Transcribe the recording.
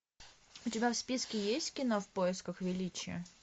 у тебя в списке есть кино в поисках величия